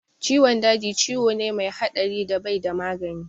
Ciwon daji ciwo ne mai haɗari da bai da magani